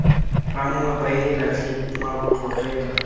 ramoepa heela tlhe mmaabo tlogela